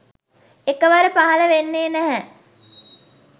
එකවර පහළ වෙන්නේ නැහැ.